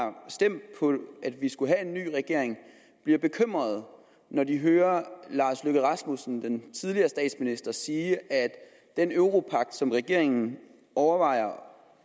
stemt for at vi skulle have en ny regering bliver bekymrede når de hører den tidligere statsminister sige at den europagt som regeringen overvejer